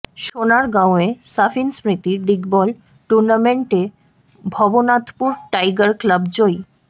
সোনারগাঁওয়ে সাফিন স্মৃতি ডিগবল টুর্নামেন্টে ভবনাথপুর টাইগার ক্লাব জয়ী